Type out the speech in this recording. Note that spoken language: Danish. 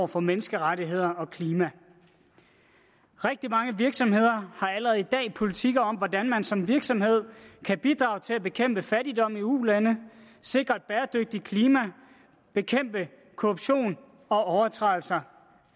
for menneskerettigheder og klima rigtig mange virksomheder har allerede i dag politikker om hvordan man som virksomhed kan bidrage til at bekæmpe fattigdom i ulande sikre et bæredygtigt klima og bekæmpe korruption og overtrædelser